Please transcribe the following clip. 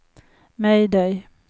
mayday